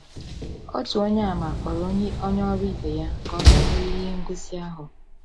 Otu Onyeàmà kpọrọ onye ọrụ ibe ya ka ọ bịa hụ ihe ngosi ahụ.